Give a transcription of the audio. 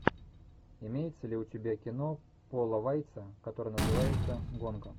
имеется ли у тебя кино пола вайца которое называется гонка